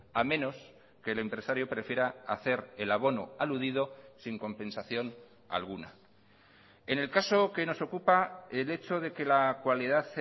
a menos que el empresario prefiera hacer el abono aludido sin compensación alguna en el caso que nos ocupa el hecho de que la cualidad